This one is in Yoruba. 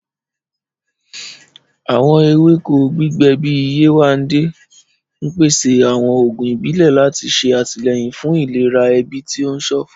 Àwọn ewéko, gẹ́gẹ́ bíi Yewande, ń pèsè àwọn oògùn ìbílẹ̀ láti ṣe àtìlẹ́yìn fún ìlera ẹbí tí ó ń ṣọ̀fọ̀.